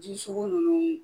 Ji sugu nunnu